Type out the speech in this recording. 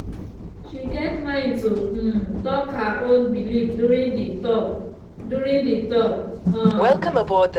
she get mind to um talk her own belief during the talk. during the talk. um